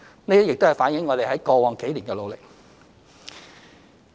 這亦反映了我們在過往幾年的努力。